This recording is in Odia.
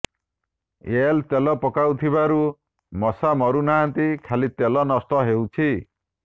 ଏଲ୍ ତେଲ ପକାଉଥିବାରୁ ମଶା ମରୁନାହାନ୍ତି ଖାଲି ତେଲ ନଷ୍ଟ ହେଉଛି